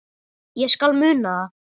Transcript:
Ég skal muna það